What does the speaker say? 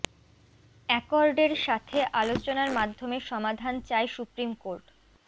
accord এর সাথে আলোচনার মাধ্যমে সমাধান চায় সুপ্রিম কোর্ট